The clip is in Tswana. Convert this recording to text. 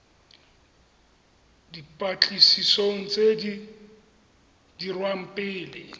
dipatlisisong tse di dirwang pele